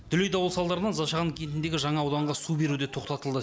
дүлей дауыл салдарынан зашаған кентіндегі жаңа ауданға су беру де тоқтатылды